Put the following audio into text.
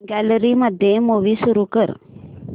gallery मध्ये movie सुरू कर